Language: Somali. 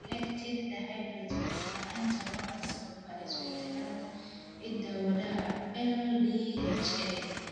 Lactate dehydrogenase La'aanta waxaa sababa isbeddellada hidda-wadaha LDHA.